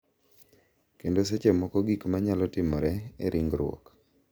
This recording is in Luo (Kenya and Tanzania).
Kendo seche moko gik ma nyalo timore e ringruok.